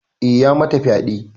Eh ya mata fyade.